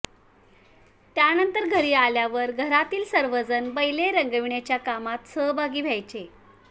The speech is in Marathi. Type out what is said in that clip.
त्यानंतर घरी आल्यावर घरातील सर्वजण बैले रंगविण्याच्या कामात सहभागी व्हायचे